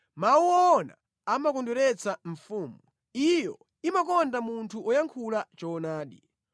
Mawu owona amakondweretsa mfumu. Iyo imakonda munthu woyankhula choonadi.